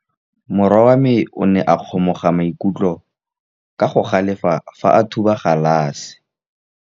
Morwa wa me o ne a kgomoga maikutlo ka go galefa fa a thuba galase.